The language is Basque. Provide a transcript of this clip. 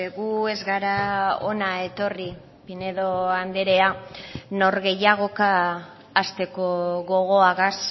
gu ez gara hona etorri pinedo andrea nor gehiagoka hasteko gogoagaz